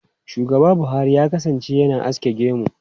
Shugaba Buhari ya kasance yana aske gemu.